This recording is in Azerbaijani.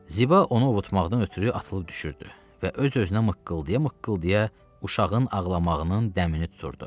Ziba onu ovutmaqdan ötrü atılıb düşürdü və öz-özünə mıqqıldıya-mıqqıldıya uşağın ağlamağının dəmini tuturdu.